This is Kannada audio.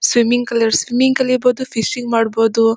ಸ್ವಿಮ್ಮಿಂಗ್ ಕಲಿಯೋರು ಸ್ವಿಮ್ಮಿಂಗ್ ಕಲೀಬಹುದು ಫಿಶಿಂಗ್ ಮಾಡಬಹುದು .